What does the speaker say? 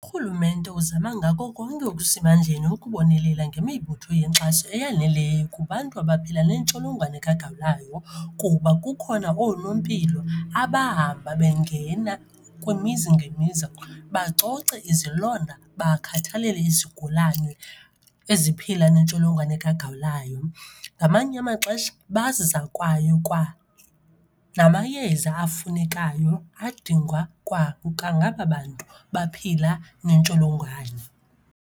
URhulumente uzama ngako konke okusemandleni ukubonelela ngemibutho yenkxaso eyaneleyo kubantu abaphila nentsholongwane kagawulayo. Kuba kukhona oonompilo abahamba bengena kwimizi ngemizi bacoce izilonda, bakhathalele izigulane eziphila nentsholongwane kagawulayo. Ngamanye amaxesha bazisa kwaye kwanamayeza afunekayo adingwa kwangaba bantu baphila nentsholongwane.